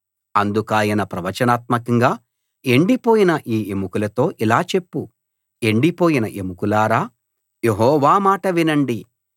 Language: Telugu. అందుకాయన ప్రవచనాత్మకంగా ఎండిపోయిన ఈ ఎముకలతో ఇలా చెప్పు ఎండిపోయిన ఎముకలారా యెహోవా మాట వినండి